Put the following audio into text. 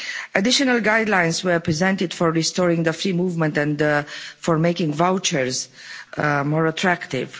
Additional guidelines were presented for restoring free movement and for making vouchers more attractive.